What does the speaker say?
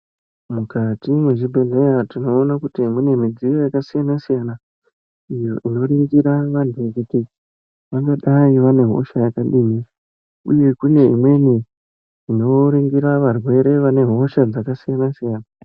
Mukati mwe zvibhedhleya tinoona kuti mune midziyo yaka siyana siyana iyo ino ningira vantu kuti vangadai vane hosha yakadini uye kune imweni ino ningira varwere vane hosha dzaka siyana siyana.